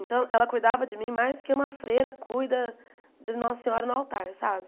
Então, ela cuidava de mim mais do que uma freira cuida de Nossa Senhora no altar, sabe?